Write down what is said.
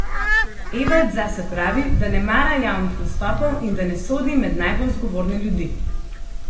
Evald zase pravi, da ne mara javnih nastopov in da ne sodi med najbolj zgovorne ljudi.